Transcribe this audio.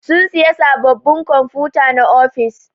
Sun siƴa saɓɓaɓin kwamfuta na ofis.